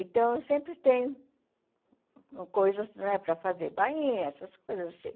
Então, eu sempre tenho coisas né para fazer, bainhas, essas coisas assim.